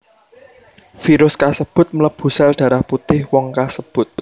Virus kasebut mlebu sel darah putih wong kasebut